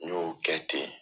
N y'o kɛ ten .